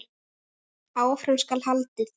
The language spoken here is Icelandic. Áfram skal haldið.